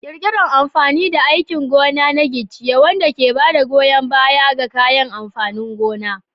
Ƙirƙirar amfani da aikin gona na giciye, wanda ke ba da goyon baya ga kayan amfanin gona.